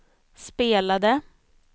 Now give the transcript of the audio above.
spelade